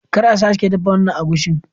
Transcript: Kar a sake dafa wannan agushin!